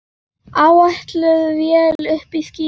Áætluð vél uppí skýjum.